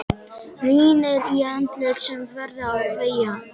Rýnir í andlit sem verða á vegi hans.